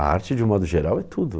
a arte, de modo geral, é tudo.